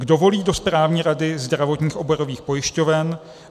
Kdo volí do správní rady zdravotních oborových pojišťoven?